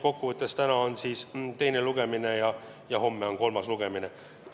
Kokkuvõttes on täna teine lugemine ja homme on kolmas lugemine.